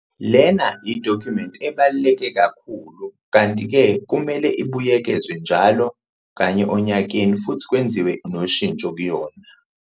Lena yidokhumenti ebaluleke kakhulu, kanti-ke kumele ibuyekezwe njalo kanye onyakeni futhi kwenziwe noshintsho kuyona.